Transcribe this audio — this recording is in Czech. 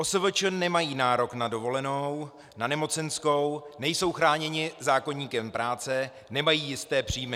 OSVČ nemají nárok na dovolenou, na nemocenskou, nejsou chráněni zákoníkem práce, nemají jisté příjmy.